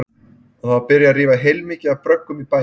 Og það var byrjað að rífa heilmikið af bröggum í bænum.